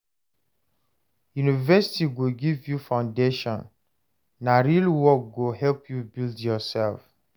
University go give you foundation; na real work go help you build yoursef.